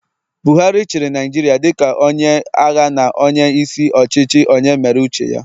Buhari chịrị Naijiria dịka onye agha na onye isi ọchịchị onye mere uche ya